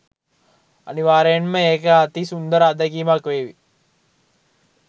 අනිවාර්යයෙන්ම ඒක අති සුන්දර අත්දැකීමක් වේවි.